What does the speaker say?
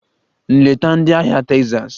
Nleta ndị ahịa Texas!